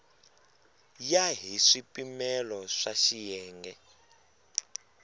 ya hi swipimelo swa xiyenge